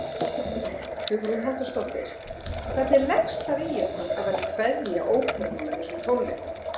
Hugrún Halldórsdóttir: Hvernig leggst það í ykkur að vera að kveðja óperuna með þessum tónleikum?